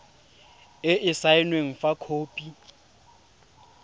e e saenweng fa khopi